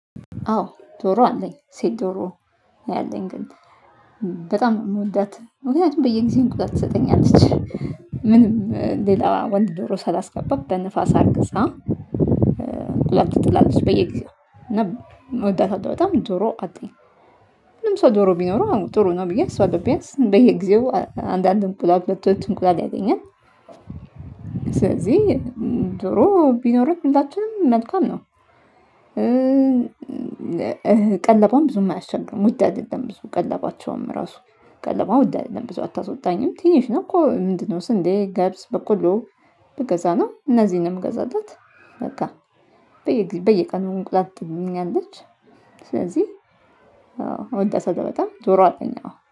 አዎ ዶሮ አለኝ። ሴት ዶሮ ነው ያለኝ ግን። በጣም ነው የምወዳት። ምክንያቱም በየጊዜው እንቁላል ትሰጠኛለች። ምንም ሌላ ወንድ ዶሮ ሳላስገባ በንፋስ አርግዛ እንቁላል ትጥላለች በየጊዜው እና እወዳታለሁ በጣም። ዶሮ አለኝ። ሁሉም ሰው ዶሮ ቢኖረው ጥሩ ነው ብዬ አስባለሁ። ቢያንስ በየጊዜው አንድ አንድ እንቁላል፣ ሁለት ሁለት እንቁላል ያገኛል። ስለዚህ ዶሮ ቢኖረን ሁላችንም መልካም ነው። ቀለቧም ብዙም አያስቸግርም። ውድ አይደለም ብዙ ቀለባቸውም ራሱ። ቀለቧ ውድ አይደለም ብዙ አታስወጣኝም ትንሽ ነው። እኮ ምንድነው ስንዴ፣ ገብስ፣ በቆሎ ብገዛ ነውደ እነዚህን ነው የምገዛላት በቃ። በየጊዜ በየቀኑ እንቁላል ትጥልልኛለች። ስለዚህ አዎ እወዳታለሁ በጣም። ዶሮ አለኝ አዎ።